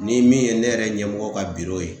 Ni min ye ne yɛrɛ ɲɛmɔgɔ ka biro ye